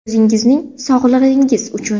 O‘zingizning sog‘lig‘ingiz uchun.